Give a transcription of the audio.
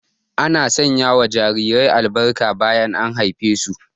Ana sanya wa jarirai albarka bayan an haife su